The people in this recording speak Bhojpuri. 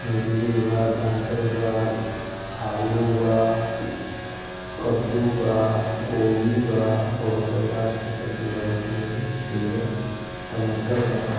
मूली बा गाजल बा आलू बा कद्दू बा कोबी बा बहुत प्रकार के सब्जी बडिसन ऐमेऐजा टमाटर बा।